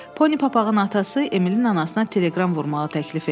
Poni papağın atası Emilin anasına teleqram vurmağı təklif etdi.